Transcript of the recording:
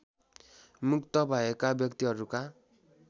मुक्त भएका व्यक्तिहरूका